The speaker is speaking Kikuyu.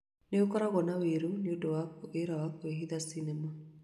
Nĩ ũkoragwo na ũiru nĩ ũndũ wa wĩra wa kwĩhitha sinema